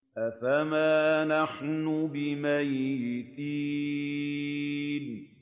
أَفَمَا نَحْنُ بِمَيِّتِينَ